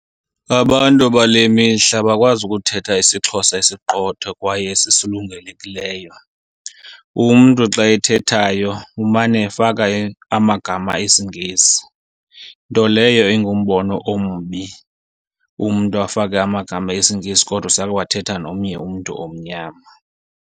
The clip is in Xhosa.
Abantu bale mihla abakwazi ukuthetha isiXhosa esiqotho kwaye esisulungelekileyo, umntu xa ethethayo umane efaka amagama esiNgesi. Nto leyo ingumbono ombi, umntu afake amagama esiNgesi kodwa usayowathetha nomnye umntu omnyama.